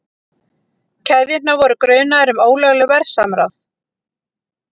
Keðjurnar voru grunaðar um ólöglegt verðsamráð